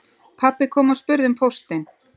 Pabbi kom og spurði um póstinn